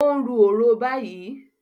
O n ru orò bayii